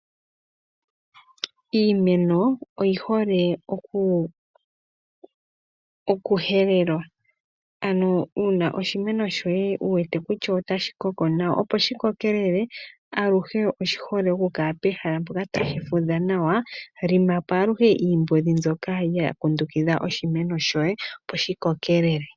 Iimeno oyi hole okuhelelwa ano oshimeno shoye ngele wu wete kutya otashi koko nawa, opo shi kokelele aluhe oshi hole okukala pehala mpoka tashi fudha nawa. lima po aluhe iimbondi mbyoka ya kundukidha oshimeno shoye opo shi kokelele.